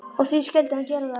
Og því skyldi hann gera það.